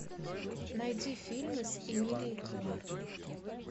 найди фильмы с эмилией кларк